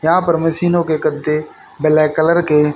यहां पर मशीनों के गद्दे ब्लैक कलर के--